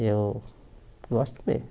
Eu gosto mesmo.